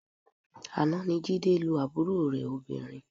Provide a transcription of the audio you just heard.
Àná ni Jídé lu àbúrò rẹ̀ obìnrin